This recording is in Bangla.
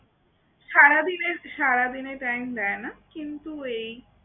সারাদিনে সারাদিনে time দেয় না কিন্তু এই